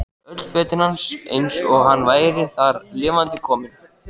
Öll fötin hans eins og hann væri þar lifandi kominn.